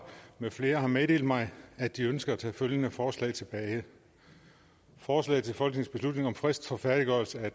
med flere har meddelt mig at de ønsker at tage følgende forslag tilbage forslag til folketingsbeslutning om frist for færdiggørelse af